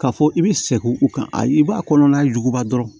K'a fɔ i bɛ sɛgɛn u kan ayi i b'a kɔnɔna juguya dɔrɔn